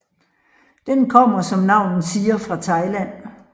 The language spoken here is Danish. Den kommer som navnet siger fra Thailand